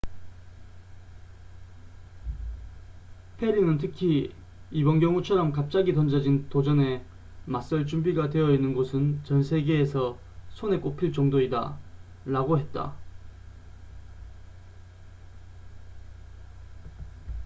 "페리는 특히 "이번 경우처럼 갑자기 던져진 도전에 맞설 준비가 되어있는 곳은 전 세계에서 손에 꼽힐 정도이다.""라고 했다.